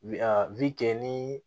Wi a wili ni